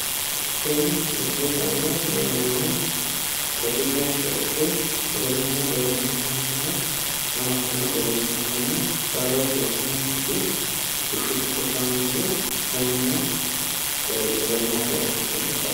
Kuni gati kashshoti sagalete qamattote horonsi'nannite bushu giddo kaynse umme fushine horonsi'nannite qamattote